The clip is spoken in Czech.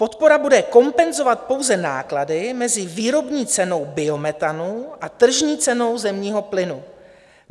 Podpora bude kompenzovat pouze náklady mezi výrobní cenou biometanu a tržní cenou zemního plynu.